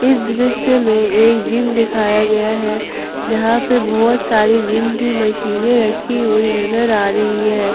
इस दृश्य में एक जिम दिखाया गया है जहां पे बहोत सारी जिम की मशीनें रखी हुई नजर आ रही है।